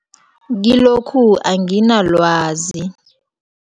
Kilokhu, anginalwazi.